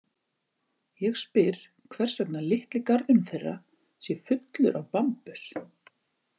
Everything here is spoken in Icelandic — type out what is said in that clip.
Ég spyr hvers vegna litli garðurinn þeirra sé fullur af bambus.